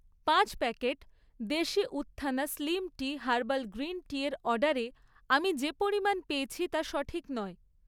পাঁচ প্যাকেট দেশি উত্থনা স্লিম টি হার্বাল গ্রিন টিয়ের অর্ডারে আমি যে পরিমাণ পেয়েছি তা সঠিক নয়।